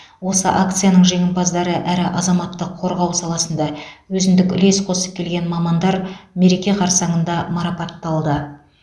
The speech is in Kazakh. осы акцияның жеңімпаздары әрі азаматтық қорғау саласында өзіндік үлес қосып келген мамандар мереке қарсаңында марапатталды